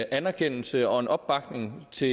anerkendelse af og en opbakning til